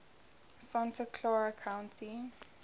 santa clara county